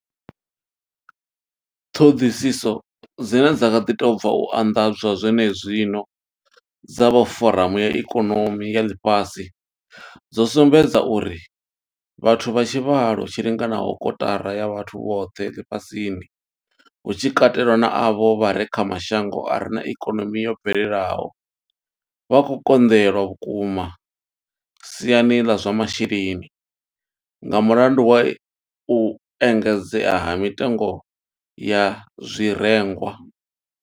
Ṱhoḓisiso dzine dza kha ḓi tou bva u anḓadzwa zwenezwino dza vha foramu ya ikonomi ya Ḽifhasi dzo sumbedza uri vhathu vha tshivhalo tshi linganaho kotara ya vhathu vhoṱhe ḽifhasini, hu tshi katelwa na avho vha re kha mashango a re na ikonomi yo bvelelaho, vha khou konḓelwa vhukuma siani ḽa zwa masheleni nga mulandu wa u engedzea ha mitengo ya zwirengwa.